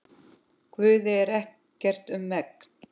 Guði er ekkert um megn.